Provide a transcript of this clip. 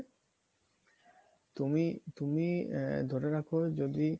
তুমি তুমি ধরে রাখো যদি